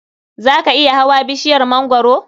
Za ka iya hawa bishiyar mangwaro?